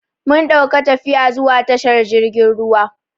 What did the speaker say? Mun dauka tafiya zuwa tashar jirgin ruwa.